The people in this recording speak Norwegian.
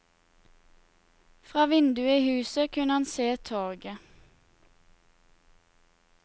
Fra vinduet i huset kunne han se torget.